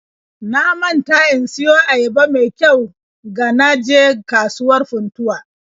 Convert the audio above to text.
Na manta in siyo ayaba me kyau ga na je kasuwar Funtuwa